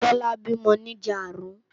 Tola bímò ni ijàárùn